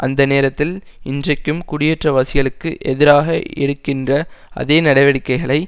அந்த நேரத்தில் இன்றைக்கும் குடியேற்றவாசிகளுக்கு எதிராக எடுக்கின்ற அதே நடவடிக்கைகளை